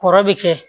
Kɔrɔ bi kɛ